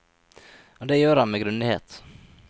Og det gjør han med grundighet.